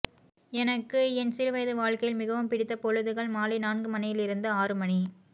எனக்கு என் சிறு வயது வாழ்க்கையில் மிகவும் பிடித்த பொழுதுகள் மாலை நான்கு மணியிலிருந்து ஆறு மணி